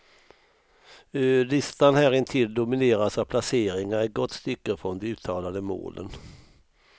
Listan härintill domineras av placeringar ett gott stycke från de uttalade målen.